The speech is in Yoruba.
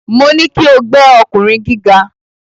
Mo ní kí o gbẹ́ ọkùnrin gíga.